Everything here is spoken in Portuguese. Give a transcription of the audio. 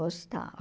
Gostava.